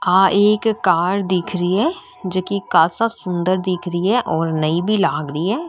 आ एक कार दिख री है जेके कैसा सुन्दर दिख री है और नई भी लाग री है।